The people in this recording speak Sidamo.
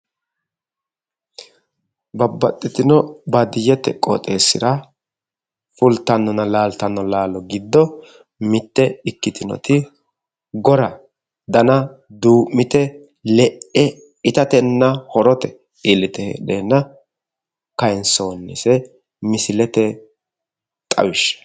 Babbaxxitino baadiyyete qooxeessira fultannonna laaltanno laalo giddo mitte ikkitinoti gora dana duu'mite le'e itatenna horote iillite heedheenna kaayinsoonnise misilete xawishsha.